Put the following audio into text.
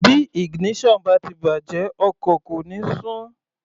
Bí ignition bá ti bàjẹ́ ọkọ̀ kò ní sún.